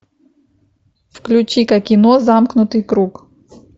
включи ка кино замкнутый круг